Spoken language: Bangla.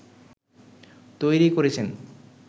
তৈরি করেছেন